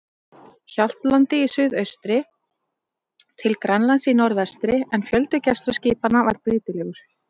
Hjaltlandi í suðaustri til Grænlands í norðvestri, en fjöldi gæsluskipanna var breytilegur.